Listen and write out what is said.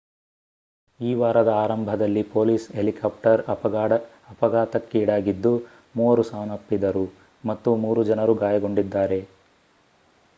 ಈ ವಾರದ ಆರಂಭದಲ್ಲಿ ಪೊಲೀಸ್ ಹೆಲಿಕಾಪ್ಟರ್ ಅಪಘಾತಕ್ಕೀಡಾಗಿದ್ದು ಮೂವರು ಸಾವನ್ನಪ್ಪಿದರು ಮತ್ತು ಮೂರು ಜನರು ಗಾಯಗೊಂಡಿದ್ದಾರೆ